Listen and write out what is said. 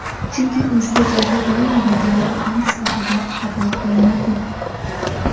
Chunki o‘zga joyda doim begona odam sifatida qabul qilinadi.